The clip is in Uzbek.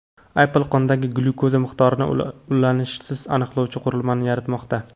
Apple qondagi glyukoza miqdorini ulanishsiz aniqlovchi qurilmani yaratmoqda.